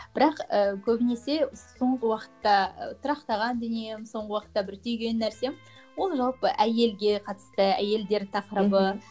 бірақ і көбінесе соңғы уақытта тұрақтаған дүнием соңғы уақытта бір түйген нәрсем ол жалпы әйелге қатысты әйелдер тақырыбы мхм